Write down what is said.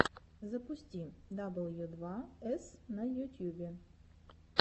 запусти дабл ю два эс на ютьюбе